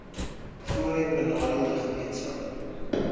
voorheen benadeelde gemeenskappe